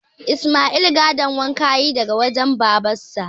Isma'il gadon waƙa ya yi daga wajen babansa